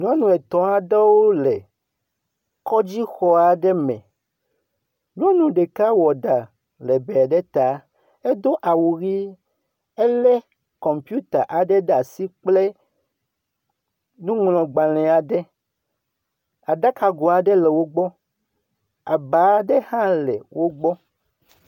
Nyɔnu etɔ̃ aɖewo le kɔdzixɔ aɖe me. nyɔnu ɖeka wɔ ɖa lɛgbɛ ɖe ta. Edo awu ʋi. Elé kɔmpiuta aɖe ɖe asi kple nuŋlɔgbalẽ aɖe, aɖakago aɖe le wogbɔ abaa aɖe hã le wogbɔ.